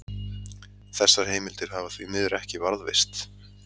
Þessar heimildir hafa því miður ekki varðveist.